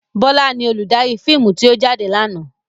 Bọlá ni olùdarí fíìmù tí ó jáde lànà.